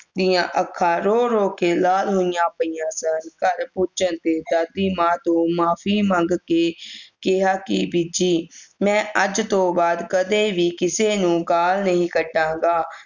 ਦੀਆਂ ਅੱਖਾਂ ਰੋ ਰੋ ਕੇ ਲਾਲ ਹੋਈਆਂ ਪਈਆਂ ਸਨ ਘਰ ਦਾਦੀ ਮਾਂ ਤੋਂ ਮਾਫੀ ਮੰਗ ਕੇ ਕਿਹਾ ਕੇ ਬੀਜੀ ਮੈਂ ਅੱਜ ਤੋਂ ਬਾਅਦ ਕਦੇ ਵੀ ਕਿਸੇ ਨੂੰ ਗਾਲ ਨਹੀਂ ਕਢਾਗਾ